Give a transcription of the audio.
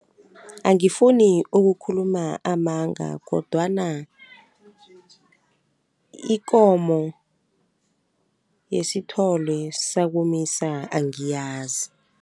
Angifuni ukukhuluma amanga kodwana ikomo yesithole sakomisa angiyazi.